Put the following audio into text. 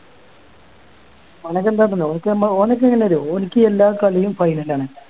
അവനൊക്കെ എന്താണ്ടല്ലോ ഓന്ക്ക് നമ്മ ഓന്ക്ക് എങ്ങനാ അറിയോ ഓന്ക്ക് എല്ലാ കളിയും final ആണ്